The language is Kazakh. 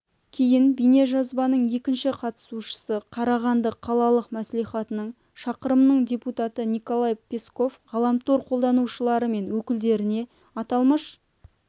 кейін бейнежазбаның екінші қатысушысы қарағанды қалалық мәслихатының шақырымның депутаты николай песков ғаламтар қолданушылары мен өкілдеріне аталмыш